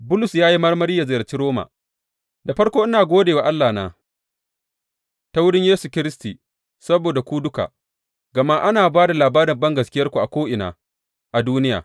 Bulus ya yi marmari yă ziyarci Roma Da farko, ina gode wa Allahna ta wurin Yesu Kiristi saboda ku duka, gama ana ba da labarin bangaskiyarku a ko’ina a duniya.